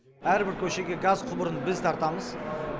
әрбір көшеге газ құбырын біз тартамыз